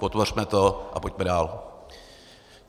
Podpořme to a pojďme dál.